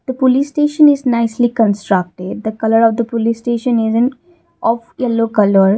the police station nicely constructed the colour of the police station is in of yellow colour.